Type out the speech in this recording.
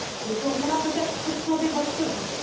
ils seront là, peut être, pour sauver votre vie.